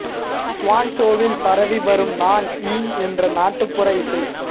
ச்சுவான் சோவில் பரவி வரும் நான் யீன் என்ற நாட்டுப்புற இசை